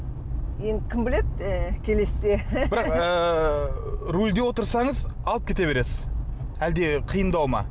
енді кім біледі і келесіде бірақ ыыы рөлде отырсаныз алып кете бересіз әлде қиындау ма